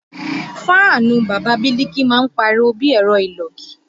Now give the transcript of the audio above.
Fáànù Bàbá Biliki máa ń pariwo bí ẹ̀rọ ìlògì